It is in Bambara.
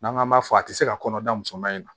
N'an k'an b'a fɔ a tɛ se ka kɔnɔda musoman in na